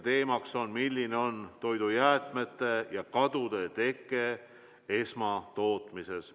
Teemaks on toidujäätmete ja -kadude teke esmatootmises.